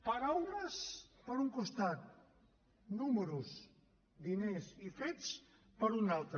paraules per un costat números diners i fets per un altre